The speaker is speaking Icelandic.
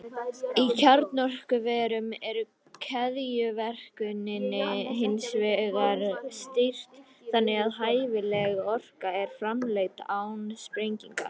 Í kjarnorkuverum er keðjuverkuninni hins vegar stýrt þannig að hæfileg orka er framleidd án sprengingar.